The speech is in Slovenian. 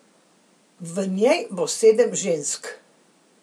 V njej bo sedem žensk.